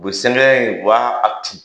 O bɛ sɛbɛn in, o b'a a tu.